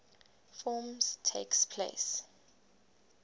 forms takes place